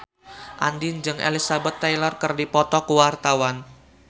Andien jeung Elizabeth Taylor keur dipoto ku wartawan